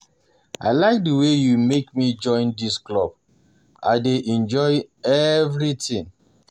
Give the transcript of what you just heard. I like the way you make me join dis club, I dey enjoy everything